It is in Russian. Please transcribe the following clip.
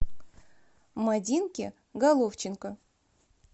мадинке головченко